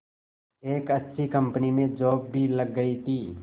एक अच्छी कंपनी में जॉब भी लग गई थी